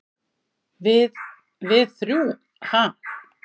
"""Við- við þrjú, ha?"""